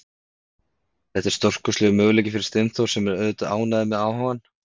Þetta er stórkostlegur möguleiki fyrir Steinþór sem er auðvitað ánægður með áhugann.